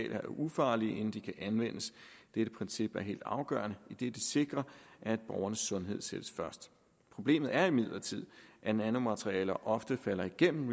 er ufarlige inden de kan anvendes dette princip er helt afgørende idet det sikrer at borgernes sundhed sættes først problemet er imidlertid at nanomaterialer ofte falder igennem